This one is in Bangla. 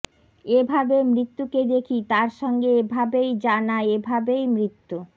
এভাবে মৃত্যুকে দেখি তার সঙ্গে এভাবেই জানা এভাবেই মৃত্যু